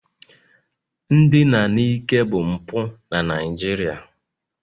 Ndina n'ike bụ mpụ na Naịjirịa